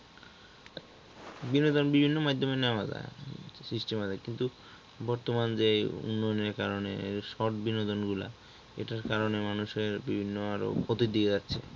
বিনোদন বিভিন্ন মাধ্যমে নেওয়া যায় system আছে কিন্তু বর্তমানে যে উন্নয়নের কারণে short বিনোদন গুলা এটার কারণে মানুষের বিভিন্ন আরও ক্ষতির দিকে যাচ্ছে।